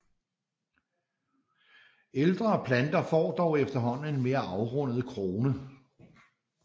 Ældre planter får dog efterhånden en mere afrundet krone